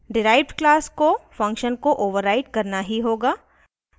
derived class को function को override करना ही होगा